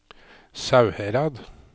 Sauherad